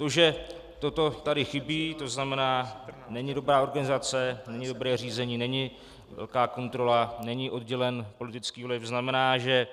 To, že toto tady chybí, to znamená není dobrá organizace, není dobré řízení, není velká kontrola, není oddělen politický vliv, znamená, že